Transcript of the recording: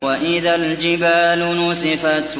وَإِذَا الْجِبَالُ نُسِفَتْ